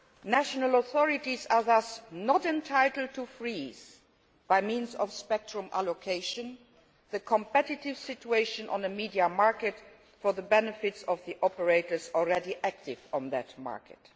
National authorities are thus not entitled to freeze, by means of spectrum allocation, the competitive situation on the media market for the benefit of the operators already active on that market.